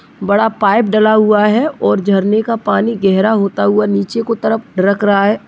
बड़ा पाइप डला हुआ है और झरने का पानी गहरा होता हुआ नीचे को तरफ ढरक रहा है।